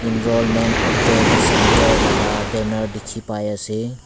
enrollment update centre laga banner dikhi pai ase.